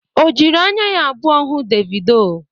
O jiri anya ya abụọ hụ Devido?